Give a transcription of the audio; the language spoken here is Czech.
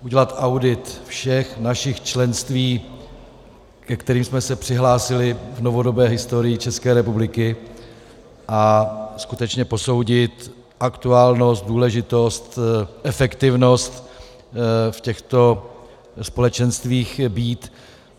Udělat audit všech našich členství, ke kterým jsme se přihlásili v novodobé historii České republiky, a skutečně posoudit aktuálnost, důležitost, efektivnost v těchto společenstvích být.